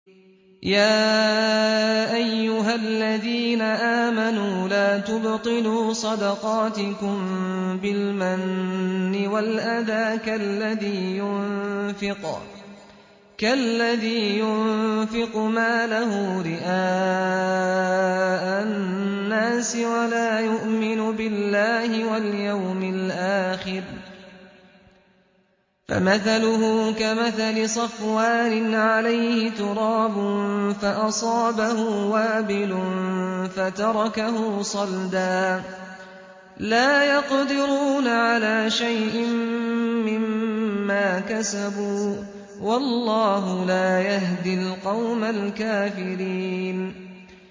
يَا أَيُّهَا الَّذِينَ آمَنُوا لَا تُبْطِلُوا صَدَقَاتِكُم بِالْمَنِّ وَالْأَذَىٰ كَالَّذِي يُنفِقُ مَالَهُ رِئَاءَ النَّاسِ وَلَا يُؤْمِنُ بِاللَّهِ وَالْيَوْمِ الْآخِرِ ۖ فَمَثَلُهُ كَمَثَلِ صَفْوَانٍ عَلَيْهِ تُرَابٌ فَأَصَابَهُ وَابِلٌ فَتَرَكَهُ صَلْدًا ۖ لَّا يَقْدِرُونَ عَلَىٰ شَيْءٍ مِّمَّا كَسَبُوا ۗ وَاللَّهُ لَا يَهْدِي الْقَوْمَ الْكَافِرِينَ